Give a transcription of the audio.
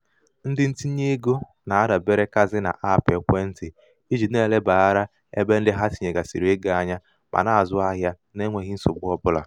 ndị ntinyeego na-adaberekazi n'aapụ ekwentị iji na-elebara ebe ndị ha tinyegasịrị ego anya ma na-azụ ahịa na-enweghi nsogbu ọbụla.